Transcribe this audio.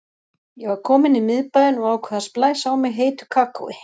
Ég var komin í miðbæinn og ákvað að splæsa á mig heitu kakói.